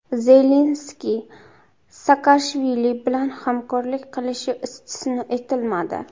Zelenskiy Saakashvili bilan hamkorlik qilishi istisno etilmadi.